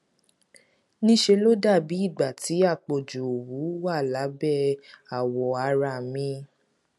ní ṣe ló dàbí ìgbà tí àpọjù òwú wà lábẹ àwọ ara mi